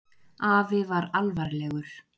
Afi var alvarlegur.